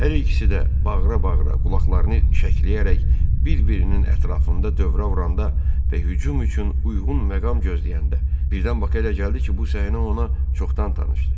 Hər ikisi də bağıra-bağıra, qulaqlarını şəkləyərək bir-birinin ətrafında dövrə vuranda və hücum üçün uyğun məqam gözləyəndə, birdən Baka elə gəldi ki, bu səhnə ona çoxdan tanışdır.